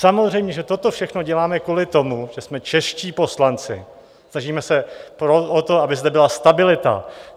Samozřejmě že toto všechno děláme kvůli tomu, že jsme čeští poslanci, snažíme se o to, aby zde byla stabilita.